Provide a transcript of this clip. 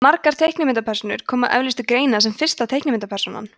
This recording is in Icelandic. margar teiknimyndapersónur koma eflaust til greina sem fyrsta teiknimyndapersónan